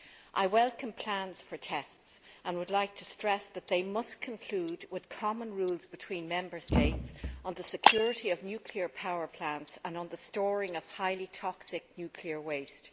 I welcome plans for tests and would like to stress that they must conclude with common rules between Member States on the security of nuclear power plants and on the storing of highly toxic nuclear waste.